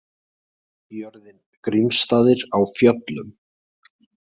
Jörðin Grímsstaðir á Fjöllum.